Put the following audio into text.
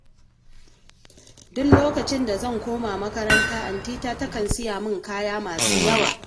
Duk lokacin da zan koma makaranta antina takan siya min kaya masu yawa